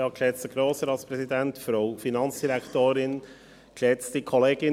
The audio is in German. Kommissionspräsident der FiKo.